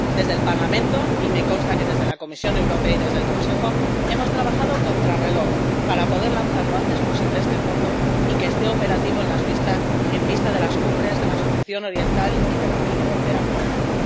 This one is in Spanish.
Desde el Parlamento, y me consta que desde la Comisión Europea y desde el Consejo, hemos trabajado contrarreloj para poder lanzar lo antes posible este fondo y que esté operativo con vistas a las Cumbres de la Asociación Oriental y de la Unión Europea África.